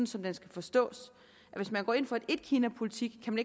som den skal forstås hvis man går ind for en etkinapolitik kan